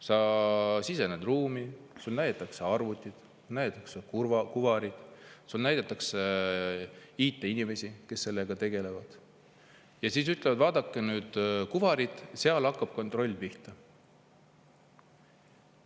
Sa sisened ruumi, sulle näidatakse arvutit, sa näed kuvarit, sulle näidatakse IT-inimesi, kes sellega tegelevad, ja siis nad ütlevad: vaadake nüüd kuvarit, seal hakkab kontroll pihta.